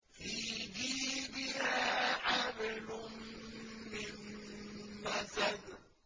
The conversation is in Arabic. فِي جِيدِهَا حَبْلٌ مِّن مَّسَدٍ